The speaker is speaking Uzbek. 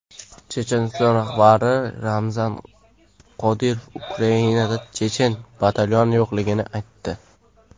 Checheniston rahbari Ramzan Qodirov Ukrainada chechen batalyoni yo‘qligini aytdi.